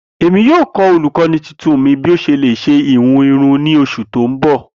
Emi yoo kọ olukọni tuntun mi bi o ṣe le ṣe ihun irun ni oṣu ti n bọ.